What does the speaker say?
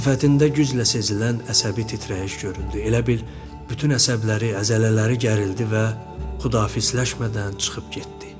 Sifətində güclə sezilən əsəbi titrəyiş göründü, elə bil bütün əsəbləri, əzələləri gərildi və xudafizləşmədən çıxıb getdi.